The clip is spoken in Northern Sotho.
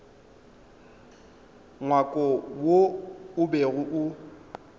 ngwako wo o bego o